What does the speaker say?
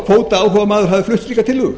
neinn kvótaáhugamaður hafi flutt slíka tillögu